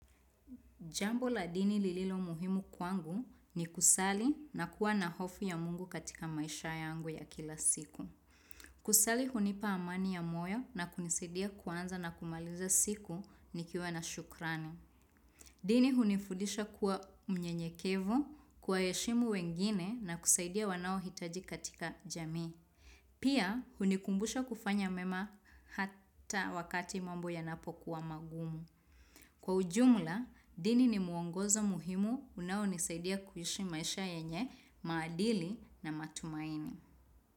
Jambo la dini lililo muhimu kwangu ni kusali na kuwa na hofu ya mungu katika maisha yangu ya kila siku. Kusali hunipa amani ya moyo na kunisidia kuanza na kumaliza siku nikiwa na shukrani. Dini hunifudisha kuwa mnyenyekevu, kuwaheshimu wengine na kusaidia wanaohitaji katika jamii. Pia hunikumbusha kufanya mema hata wakati mambo yanapo kuwa magumu. Kwa ujumla, dini ni muongozo muhimu unao nisaidia kuishi maisha yenye, maadili na matumaini.